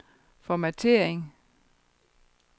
formattering